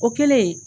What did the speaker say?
O kɛlen